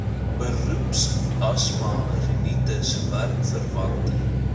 beroepsasma rinitis werkverwante